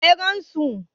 waye ya gansu